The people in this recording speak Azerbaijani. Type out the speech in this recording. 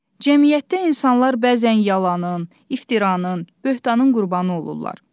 Cəmiyyətdə insanlar bəzən yalanın, iftiranın, böhtanın qurbanı olurlar.